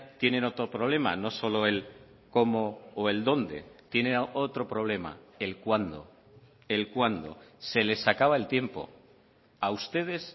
tienen otro problema no solo el cómo o el dónde tiene otro problema el cuándo el cuándo se les acaba el tiempo a ustedes